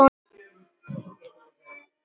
Júlía leit á Lenu.